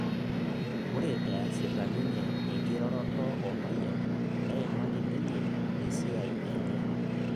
Ore easita ninye enkiroroto o mayian neimaki ninye esiai enye